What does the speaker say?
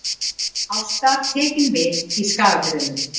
Ásta tekin við í Skagafirðinum